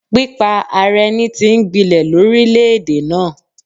Pípa ara ẹni tí ń gbinlẹ̀ lórílèèdè náà.